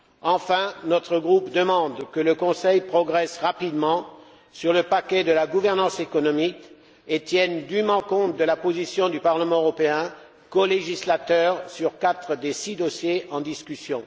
Enfin, notre groupe demande que le Conseil progresse rapidement sur le paquet de la gouvernance économique et tienne dûment compte de la position du Parlement européen, colégislateur sur quatre des six dossiers en discussion.